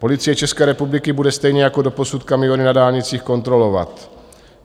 Policie České republiky bude stejně jako doposud kamiony na dálnicích kontrolovat.